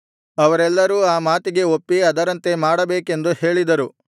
ಅವರೆಲ್ಲರೂ ಆ ಮಾತಿಗೆ ಒಪ್ಪಿ ಅದರಂತೆ ಮಾಡಬೇಕೆಂದು ಹೇಳಿದರು